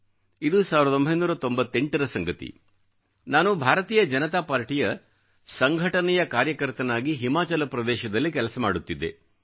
ಇದು 1998 ರ ಸಂಗತಿ ನಾನು ಭಾರತೀಯ ಜನತಾ ಪಾರ್ಟಿಯ ಸಂಘಟನೆಯ ಕಾರ್ಯಕರ್ತನಾಗಿ ಹಿಮಾಚಲ ಪ್ರದೇಶದಲ್ಲಿ ಕೆಲಸ ಮಾಡುತ್ತಿದ್ದೆ